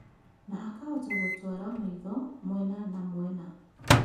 Na akahota gũtwara maitho mwena na mwena